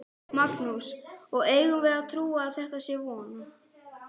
Magnús: Og eigum við að trúa að þetta sé svona?